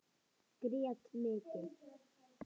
Grét mikið.